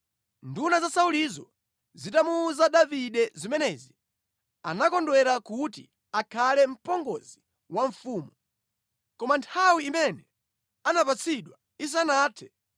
Nduna za Saulizo zitamuwuza Davide zimenezi, anakondwera kuti akhale mpongozi wa mfumu. Koma nthawi imene anapatsidwa isanathe,